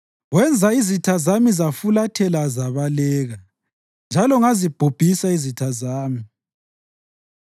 Wenza izitha zami zafulathela zabaleka, njalo ngazibhubhisa izitha zami.